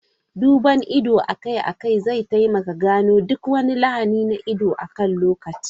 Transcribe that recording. Duban ido akai-akai zai taimaka gano duk wani lahani na ido akan lokaci.